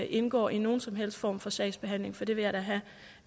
indgår i nogen som helst form for sagsbehandling for det vil jeg da have